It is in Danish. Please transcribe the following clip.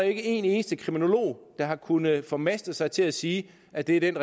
ikke en eneste kriminolog der har kunnet formaste sig til at sige at det er den